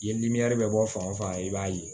Ye bɛ bɔ fan o fan i b'a ye